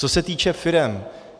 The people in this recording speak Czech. Co se týče firem.